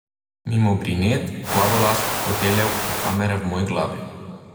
Mimo brinet, plavolask, foteljev in kamere v moji glavi.